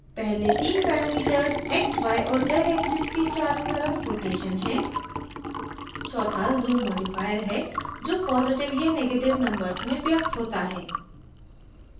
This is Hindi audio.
पहले the parameters x y और z axes के चारों तरफ rotations हैं